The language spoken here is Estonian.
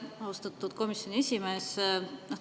Aitäh, austatud komisjoni esimees!